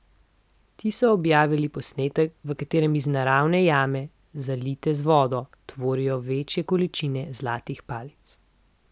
Ti so objavili posnetek, v katerem iz naravne jame, zalite z vodo, tovorijo večje količine zlatih palic.